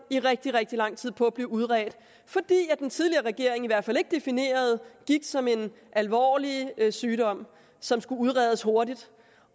i rigtig rigtig lang tid på at blive udredt fordi den tidligere regering i hvert fald ikke definerede gigt som en alvorlig sygdom som skulle udredes hurtigt